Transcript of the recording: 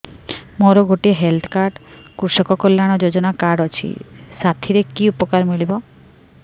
ମୋର ଗୋଟିଏ health card କୃଷକ କଲ୍ୟାଣ ଯୋଜନା କାର୍ଡ ଅଛି ସାଥିରେ କି ଉପକାର ମିଳିବ